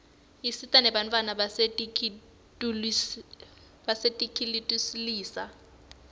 isita nebantfwana basetinkitulisa